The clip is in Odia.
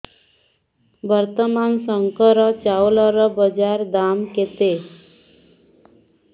ବର୍ତ୍ତମାନ ଶଙ୍କର ଚାଉଳର ବଜାର ଦାମ୍ କେତେ